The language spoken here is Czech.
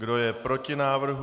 Kdo je proti návrhu?